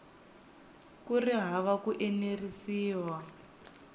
ku ri hava ku enerisiwa